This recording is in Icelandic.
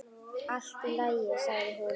Allt í lagi, sagði hún.